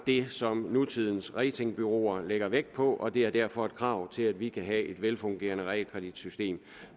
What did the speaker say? det som nutidens ratingbureauer lægger vægt på og det er derfor et krav til at vi kan have et velfungerende realkreditsystem